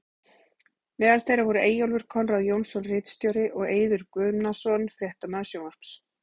Meðal þeirra voru Eyjólfur Konráð Jónsson ritstjóri og og Eiður Guðnason fréttamaður sjónvarps.